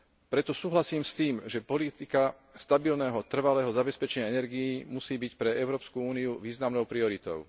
Preto súhlasím s tým, že politika stabilného, trvalého zabezpečenia energií musí byť pre Európsku úniu významnou prioritou.